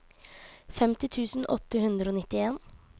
femti tusen åtte hundre og nittien